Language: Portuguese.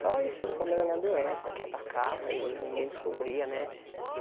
Só isso era o problema da minha doença, que atacava e ninguém descobria, né?